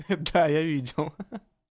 да я видел